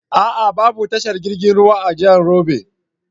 A'a babu tashar jirgin ruwan a jahar Yobe.